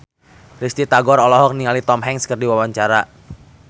Risty Tagor olohok ningali Tom Hanks keur diwawancara